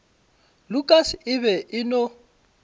lukas e be e no